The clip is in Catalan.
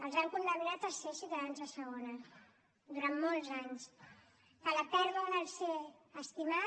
els han condemnat a ser ciutadans de segona durant molts anys que a la pèrdua del ser estimat